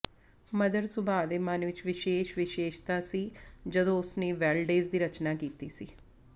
mother ਸੁਭਾਅ ਦੇ ਮਨ ਵਿਚ ਵਿਸ਼ੇਸ਼ ਵਿਸ਼ੇਸ਼ਤਾ ਸੀ ਜਦੋਂ ਉਸਨੇ ਵੈਲਡੇਜ਼ ਦੀ ਰਚਨਾ ਕੀਤੀ ਸੀ